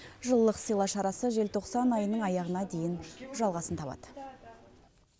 жылылық сыйла шарасы желтоқсан айының аяғына дейін жалғасын табады